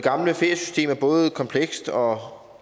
herre